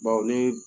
Bawo ne